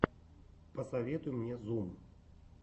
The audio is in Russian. посоветуй мне зум